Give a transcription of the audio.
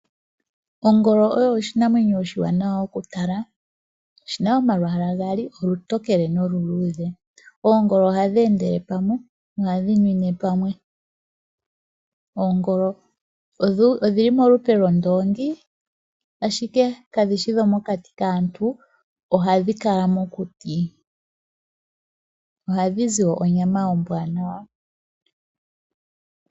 Ongolo oyo oshinamwenyo oshiwanawa okutala. Oshi na omalwaala gaali olutokele noluluudhe. Oongolo ohadhi endele pamwe nohadhi nwine pamwe. Oongolo odhi li molupe lwondoongi, ashike kadhi shi dhomokati kaantu. Ohadhi kala mokuti. Ohadhi zi wo onyama ombwaanawa.